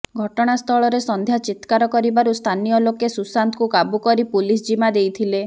ଘଟଣା ସ୍ଥଳରେ ସନ୍ଧ୍ୟା ଚିତ୍କାର କରିବାରୁ ସ୍ଥାନୀୟ ଲୋକେ ସୁଶାନ୍ତକୁ କାବୁ କରି ପୁଲିସ ଜିମା ଦେଇଥିଲେ